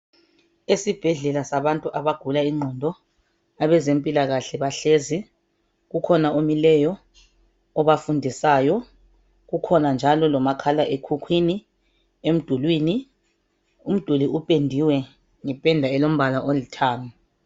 Esibhedlela sabantu abagula ingqondo, abezempilakahle bahlezi. Kukhona omileyo, obafundisayo. Kukhona njalo lomakhalekhukhwini emdulwini. Umduli upendiwe ngombala olithanga.